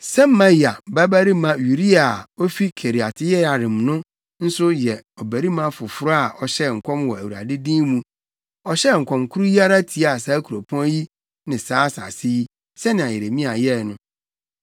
(Semaia babarima Uria a, ofi Kiriat-Yearim no nso yɛ ɔbarima foforo a ɔhyɛɛ nkɔm wɔ Awurade din mu; ɔhyɛɛ nkɔm koro yi ara tiaa saa kuropɔn yi ne saa asase yi, sɛnea Yeremia yɛe no.